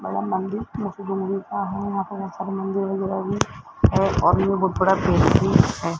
बड़ा मंदिर का है यहां पर ऐसा मंदिर वगैरा भी है और यहां बहोत बड़ा पेड़ भी है।